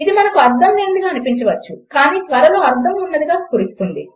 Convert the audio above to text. ఇది మనకు అర్థం లేనిదిగా అనిపించవచ్చు కానీ త్వరలో అర్థం ఉన్నదిగా స్ఫురిస్తుంది